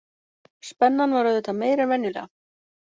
Spennan var auðvitað meiri en venjulega